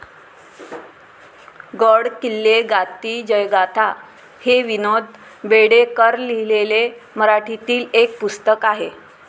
गड किल्ले गाती जयगाथा' हे निनाद बेडेकरलिहिलेले मराठीतील एक पुस्तक आहे.